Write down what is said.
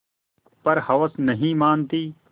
पर हवस नहीं मानती